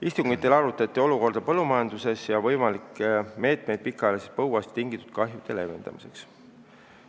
Istungitel arutati olukorda põllumajanduses ja võimalikke meetmeid pikaajalisest põuast tingitud kahjude leevendamiseks.